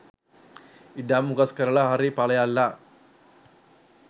ඉඩම් උකස් කරලා හරි පලයල්ලා